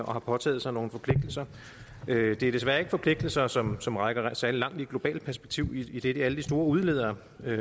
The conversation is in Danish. og har påtaget sig nogle forpligtelser det er desværre ikke forpligtelser som som rækker særlig langt i det globale perspektiv idet alle de store udledere